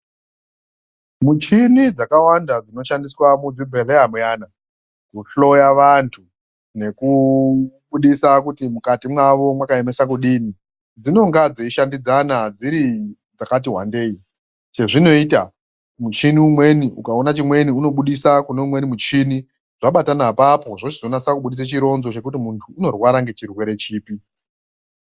Muchini dzakawanda dzinoshandiswa muzvibhedhleya muyana, kuhloya vantu nekubudisa kuti mukati mwavo mwakaemesa kudini, dzinonga dzeishandidzana dziri dzakati wandei. Chezvinoita muchini umweni ukaona chimweni unobudisa kune umweni muchini, zvabatana apapo zvochizonatsa kubudisa chironzo chekuti muntu unorwara ngechirwere chipi.